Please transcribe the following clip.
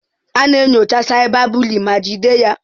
A na-enyocha cyberbully ma jide ya.